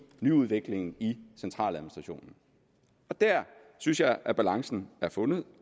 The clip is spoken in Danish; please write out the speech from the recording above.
nyudviklingen i centraladministrationen der synes jeg at balancen er fundet